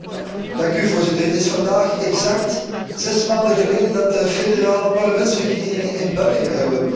Het is vandaag exact zes maanden geleden dat de federale parlementsverkiezingen in België hebben plaatsgevonden.